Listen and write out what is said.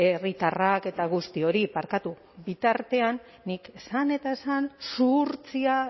herritarrak eta guzti hori barkatu bitartean nik esan eta esan zuhurtzia